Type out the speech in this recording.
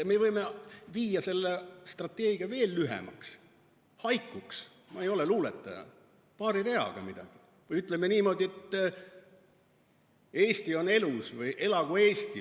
Me võime teha selle strateegia veel lühemaks, haikuks – ma ei ole luuletaja –, öelda paari reaga midagi, öelda näiteks niimoodi, et "Eesti on elus" või "Elagu Eesti".